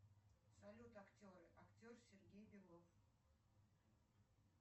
салют актеры актер сергей белов